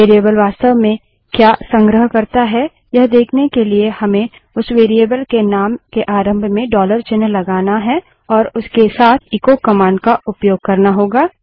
variable वास्तव में क्या संग्रह करता है यह देखने के लिए हमें उस वेरिएबल के नाम के आरंभ में डॉलर चिन्ह लगाना है और उसके साथ एचो कमांड का उपयोग करना होगा